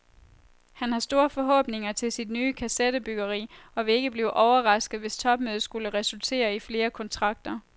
Han har store forhåbninger til sit nye kasettebygggeri, og vil ikke blive overrasket, hvis topmødet skulle resultere i flere kontrakter.